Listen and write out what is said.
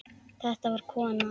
Þetta var kona.